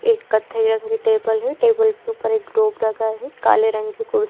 एक कत्थई रंग की टेबल है टेबल के ऊपर एक ग्लोब रखा है काले रंग की कुर्सी --